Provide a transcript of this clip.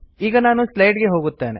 ಈಗ ನಾನು ಸ್ಲೈಡ್ ಗೆ ಹೋಗುತ್ತೇನೆ